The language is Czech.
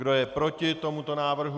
Kdo je proti tomuto návrhu?